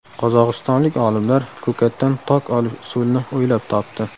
Qozog‘istonlik olimlar ko‘katdan tok olish usulini o‘ylab topdi.